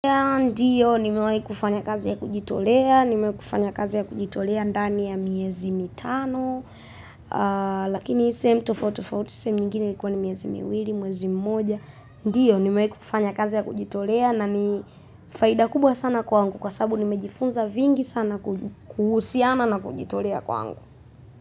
Ndiyo nimewahi kufanya kazi ya kujitolea, nimewahi kufanya kazi ya kujitolea ndani ya miezi mitano lakini sehemu tofautitofauti, sehemu nyingine ilikuwa ni miezi miwili, mwezi mmoja. Ndiyo nimewahi kufanya kazi ya kujitolea na ni faida kubwa sana kwangu. Kwa sababu nimejifunza vingi sana kuhusiana na kujitolea kwangu.